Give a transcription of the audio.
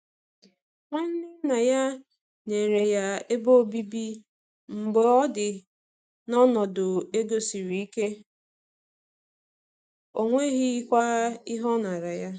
Nwanne nna ya nyere ya ebe obibi mgbe ọ dị n’ọnọdụ ego siri ike, ọ nweghịkwa ihe ọ nara ya.